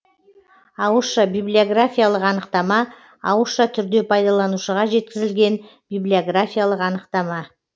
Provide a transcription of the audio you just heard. ауызша библиографиялық анықтама ауызша түрде пайдаланушыға жеткізілген библиографиялық анықтама